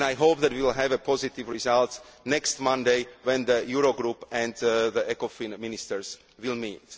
Greece. I hope that we will have a positive result next Monday when the Eurogroup and the Ecofin ministers